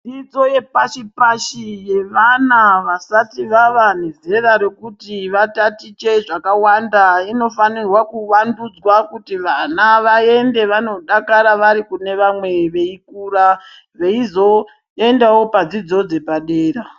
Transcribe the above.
Dzidzo yepashi-pashi yevana vasati vava nezera rekuti vatatiche zvakawanda. Inofanirwe kuvandudzwa kuti vana vaende vanodakara varikune vamwe veikura veizo endavo padzidzo dzepadera.